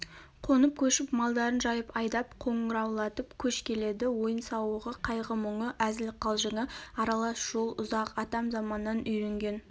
қонып-көшіп малдарын жайып айдап қоңыраулатып көш келеді ойын-сауығы қайғы-мұңы әзіл-қалжыңы аралас жол ұзақ атам заманнан үйренген